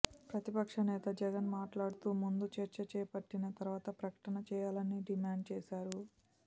ప్రతిపక్ష నేత జగన్ మాట్లాడుతూ ముందు చర్చ చేపట్టిన తరువాత ప్రకటన చేయాలని డిమాండ్ చేశారు